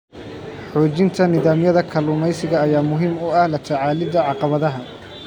Xoojinta nidaamyada kalluumeysiga ayaa muhiim u ah la tacaalidda caqabadaha.